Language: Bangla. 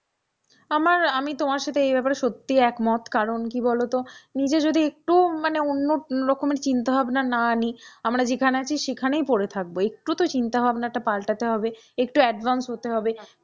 আমার আমি তোমার সাথে এই ব্যাপারে সত্যিই একমত, কারণ কি বলতো নিজে যদি একটু মানে অন্যরকমের চিন্তা ভাবনা না নিই আমরা যেখানে আছি সেখানেই পড়ে থাকবো, একটু তো চিন্তাভাবনাটা পাল্টাতে হবে, একটু advance হতে হবে।